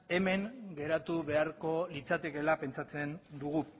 hemen geratu beharko litzatekeela pentsatzen dugu